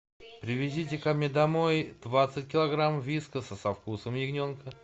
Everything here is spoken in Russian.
привезите ко мне домой двадцать килограммов вискаса со вкусом ягненка